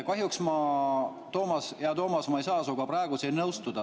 Kahjuks, hea Toomas, ma ei saa sinuga nõustuda.